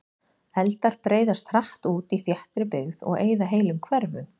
Eldar breiðast hratt út í þéttri byggð og eyða heilum hverfum.